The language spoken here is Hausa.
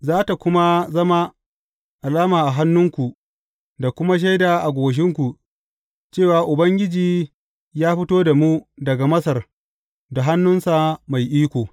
Za tă kuma zama alama a hannunku da kuma shaida a goshinku cewa Ubangiji ya fito da mu daga Masar da hannunsa mai iko.